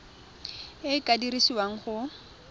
e e ka dirisiwang go